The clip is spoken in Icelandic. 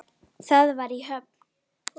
Það var í Höfn.